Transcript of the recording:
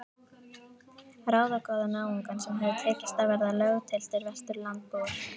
Ráðagóða náunga sem hafði tekist að verða löggiltir Vesturlandabúar.